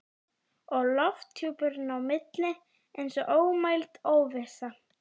Og lofthjúpurinn á milli eins og ómæld óvissa.